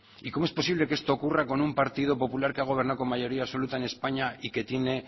y cómo es posible que esto ocurra con un partido popular que ha gobernado con mayoría absoluta en españa y que tiene